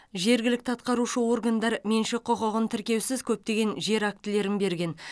жергілікті атқарушы органдар меншік құқығын тіркеусіз көптеген жер актілерін берген